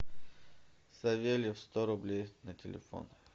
савельев сто рублей на телефон